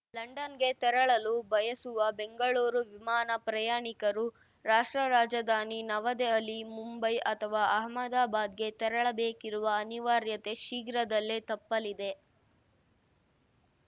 ಲಂಡನ್‌ಗೆ ತೆರಳಲು ಬಯಸುವ ಬೆಂಗಳೂರು ವಿಮಾನ ಪ್ರಯಾಣಿಕರು ರಾಷ್ಟ್ರ ರಾಜಧಾನಿ ನವದೆಹಲಿ ಮುಂಬೈ ಅಥವಾ ಅಹಮದಾಬಾದ್‌ಗೆ ತೆರಳಬೇಕಿರುವ ಅನಿವಾರ್ಯತೆ ಶೀಘ್ರದಲ್ಲೇ ತಪ್ಪಲಿದೆ